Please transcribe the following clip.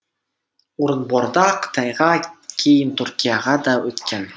орынборда қытайға кейін түркияға да өткен